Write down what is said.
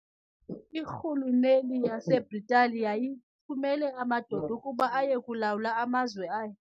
Irhuluneli yaseBritani yayithumela amadoda ukuba aye kulawula amazwe ayo.